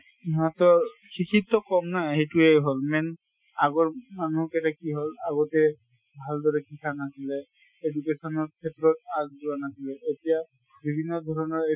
সিঁহতৰ শিক্ষিত কম না সেইটোয়ে হʼল main আগৰ মানুহ কেটা কি হʼল আগতে ভাল্দৰে শিখা নাছিলে। education ৰ ক্ষেত্ৰত আগ যোৱা নাছিলে। এতিয়া বিভিন্ন ধৰণৰ